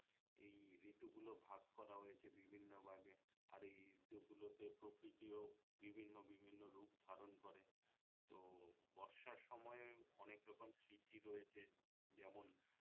এই ঋতু গুলো ভাগ করা হয়েছে বিভিন্ন ভাগে আর এই ঋতু গুলোতে প্রকৃতিও বিভিন্ন বিভিন্ন রূপ ধারণ করে তো বর্ষার সময় অনেক রকম স্মৃতি রয়েছে যেমন